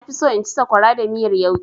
Na fi so in ci sakwara da miyar yauƙi.